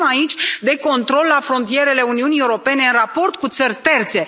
Vorbim aici de control la frontierele Uniunii Europene în raport cu țări terțe.